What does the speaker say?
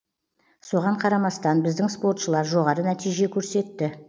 соған қарамастан біздің спортшылар жоғары нәтиже көрсетті